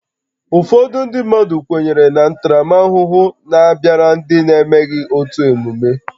Ụfọdụ obodo kwenyere na ntaramahụhụ na-abịara ndị na-emeghị otu emume